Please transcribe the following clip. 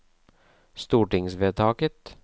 stortingsvedtaket